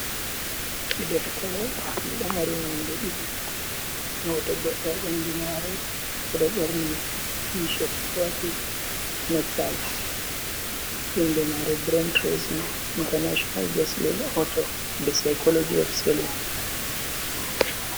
Je ɗeftere be ɗo mari nonɗe didi hoto goddo a bandu mare oɗo borni tished wati nectay inde mare brin trasing international breselin auto the psycology of selin.